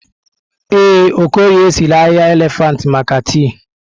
Ee, Okorie sịrị ahịhịa elefantị maka tii.